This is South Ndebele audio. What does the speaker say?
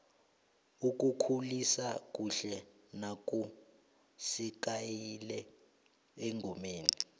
ukukhulisa kuhle naku sekayile engomeni